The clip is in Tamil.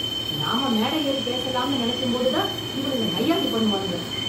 நாம மேட ஏறி பேசலாம்னு நெனைக்கும் போதுதான் இவனுங்க நைய்யாண்டி பண்ணுவானுங்க.